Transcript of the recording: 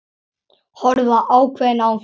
Horfa ákveðin á þær.